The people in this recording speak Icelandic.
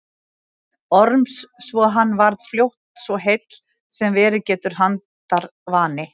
Orms svo hann varð fljótt svo heill sem verið getur handarvani.